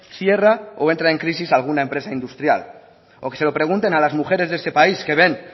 cierra o entra en crisis alguna empresa industrial o que se lo pregunten a las mujeres de este país que ven